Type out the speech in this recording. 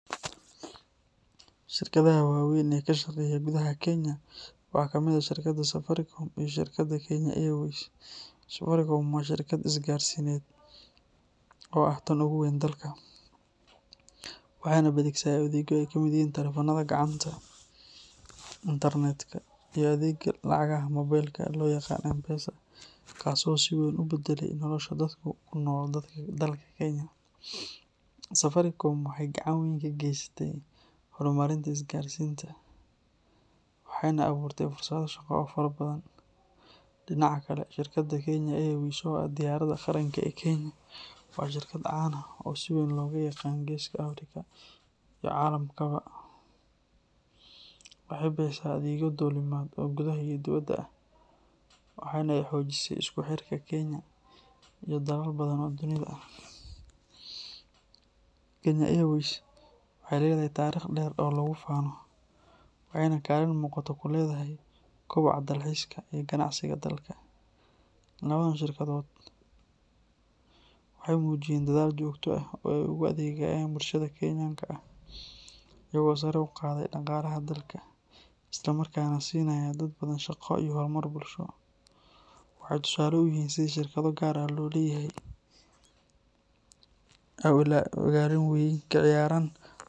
Shirkadaha waaweyn ee ka shaqeeya gudaha Kenya waxaa ka mid ah shirkadda Safaricom iyo shirkadda Kenya Airways. Safaricom waa shirkad isgaarsiineed oo ah tan ugu weyn dalka, waxaana ay bixisaa adeegyo ay ka mid yihiin taleefannada gacanta, internet-ka iyo adeegga lacagaha mobilka ah ee loo yaqaan M-Pesa, kaas oo si weyn u beddelay nolosha dadka ku nool dalka Kenya. Safaricom waxay gacan weyn ka gaysatay horumarinta isgaarsiinta, waxaana ay abuurtay fursado shaqo oo fara badan. Dhinaca kale, shirkadda Kenya Airways oo ah diyaaradda qaranka ee Kenya, waa shirkad caan ah oo si weyn looga yaqaan geeska Afrika iyo caalamkaba. Waxay bixisaa adeegyo duulimaad oo gudaha iyo dibadda ah, waxaana ay xoojisay isku xirka Kenya iyo dalal badan oo dunida ah. Kenya Airways waxay leedahay taariikh dheer oo lagu faano, waxayna kaalin muuqata ku leedahay kobaca dalxiiska iyo ganacsiga dalka. Labadan shirkadood waxay muujiyeen dadaal joogto ah oo ay ugu adeegayaan bulshada Kenyan-ka ah, iyagoo sare u qaaday dhaqaalaha dalka, isla markaana siinaya dad badan shaqo iyo horumar bulsho. Waxay tusaale u yihiin sida shirkado gaar loo leeyahay ay ugaalin weyn kaciyaaran.